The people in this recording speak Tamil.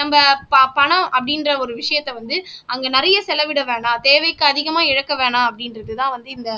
நம்ம ப பணம் அப்படின்ற ஒரு விஷயத்த வந்து அங்க நிறைய செலவிட வேண்டாம் தேவைக்கு அதிகமா இழக்க வேணாம் அப்படின்றதுதான் வந்து இந்த